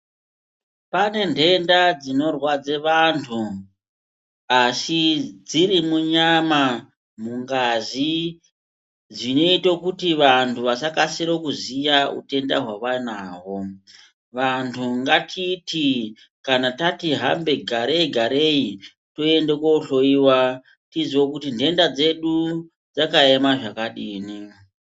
Pane nhenda dzakawanda dzinorwadza vanhu dzirimunyama, dziri mungazi dzinoite kuti vanhu vasakasire kuziye utenda hwavanahwo. Vanhu ngatiti kana tati hambe, garei garei toenda koohloyiwa toziya kuti nhenda dzedu dzakaema zvakadini.